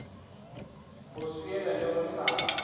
go swiela le go hlapa